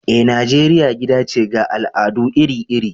Eh, Nijeriya gida ce ga al’adu iri-iri.